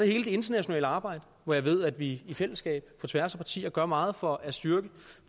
hele det internationale arbejde hvor jeg ved at vi i fællesskab på tværs af partier gør meget for at styrke